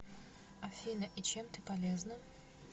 афина и чем ты полезна